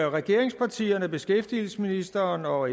regeringspartierne beskæftigelsesministeren og